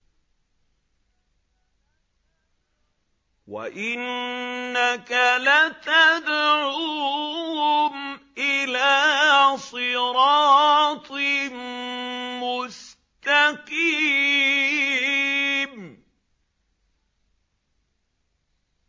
وَإِنَّكَ لَتَدْعُوهُمْ إِلَىٰ صِرَاطٍ مُّسْتَقِيمٍ